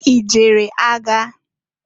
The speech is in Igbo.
I jere agha?